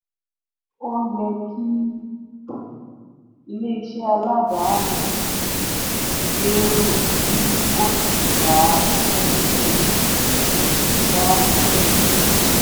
ó yẹ kí ilé-iṣẹ́ aládàáni gbèrú kí ó sì dá iṣẹ́ sílẹ̀. dá iṣẹ́ sílẹ̀.